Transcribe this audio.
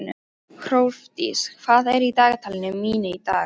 Hrólfdís, hvað er í dagatalinu mínu í dag?